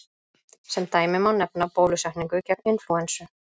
Sem dæmi má nefna bólusetningu gegn inflúensu.